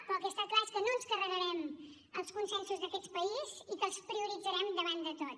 però el que està clar és que no ens carregarem els consensos d’aquest país i que els prioritzarem davant de tot